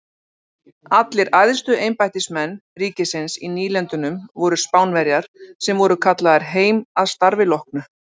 Allir æðstu embættismenn ríkisins í nýlendunum voru Spánverjar sem voru kallaðir heim að starfi loknu.